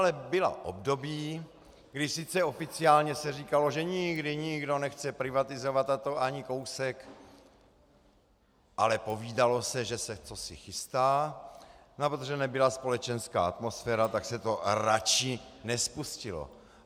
Ale byla období, kdy sice oficiálně se říkalo, že nikdy nikdo nechce privatizovat, a to ani kousek, ale povídalo se, že se cosi chystá, a protože nebyla společenská atmosféra, tak se to raději nespustilo.